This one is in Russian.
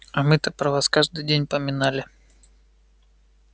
а мы-то про вас каждый день поминали